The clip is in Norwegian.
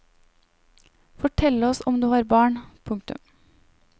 Fortell oss om du har barn. punktum